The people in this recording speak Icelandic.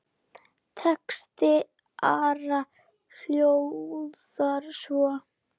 Texti Ara hljóðar svo